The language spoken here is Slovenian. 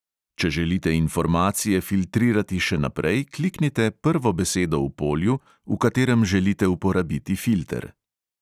Če želite informacije filtrirati še naprej, kliknite prvo besedo v polju, v katerem želite uporabiti filter.